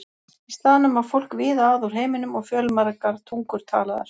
Í staðnum var fólk víða að úr heiminum og fjölmargar tungur talaðar.